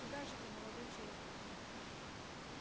куда же вы молодой человек